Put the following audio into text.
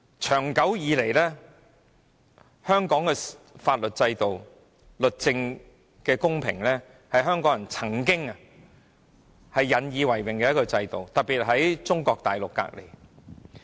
長久以來，香港的法律制度、司法公平，是香港人曾經引以為榮的特質，特別是當我們位處中國的毗鄰。